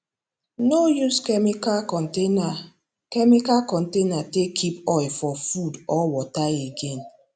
no use chemical container chemical container take keep oil for food or water again